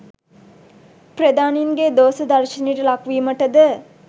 ප්‍රධානීන්ගේ දෝශ දර්ශනයට ලක් වීමට ද